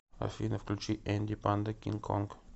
афина включи энди панда кинг конг